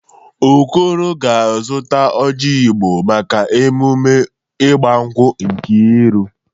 Okoro ga-azụta oji Igbo maka emume igbankwụ Nkeiru